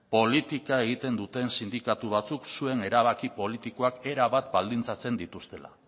politika egiten duten sindikatu batzuek zuen erabaki politikoak erabat baldintzatzen dituztela